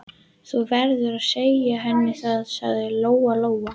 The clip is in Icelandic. Þú verður að segja henni það, sagði Lóa-Lóa.